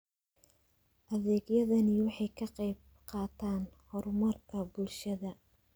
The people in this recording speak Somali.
Adeegyadani waxay ka qayb qaataan horumarka bulshada.